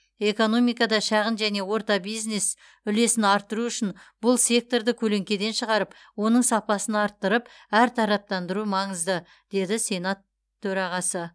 экономикада шағын және орта бизнес үлесін арттыру үшін бұл секторды көлеңкеден шығарып оның сапасын арттырып әртараптандыру маңызды деді сенат төрағасы